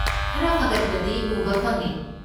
ꯈꯔ ꯐꯒꯠꯄꯗꯤ ꯎꯕ ꯐꯪꯉꯦ꯫